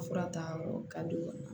Fura ta yɔrɔ ka di u ma